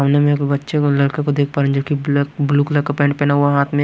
सामने में एक बच्चे को लड़के को देख पा रहे जोकि ब्लैक ब्लू कलर का पेंट पहना हुआ हाथ में--